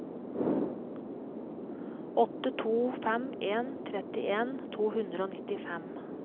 åtte to fem en trettien to hundre og nittifem